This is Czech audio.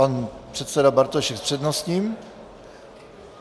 Pan předseda Bartošek s přednostním.